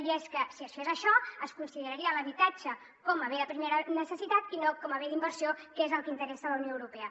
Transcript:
i és que si es fes això es consideraria l’habitatge com a bé de primera necessitat i no com a bé d’inversió que és el que interessa a la unió europea